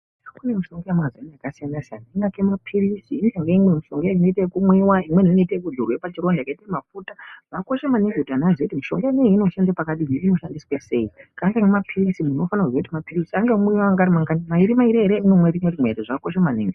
Kune mishonga yemazino yakasiyana siyana siyana yakaita mapirizi neimwe mishonga inoita ekumwiwa imweni inoita ekudzorwa pachitonda yakaita mafuta zvakakosha maningi kuti antu aziye kuti mishonga inei inoshanda pakadini inoshandiswa sei. Kahle ngemapirizi muntu unofana kuziya kuti mapirizi anomwiwa ari mangani, mairi mairi ere kana rimwe rimwe zvakakosha maningi.